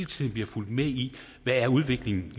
tiden bliver fulgt med i hvad udviklingen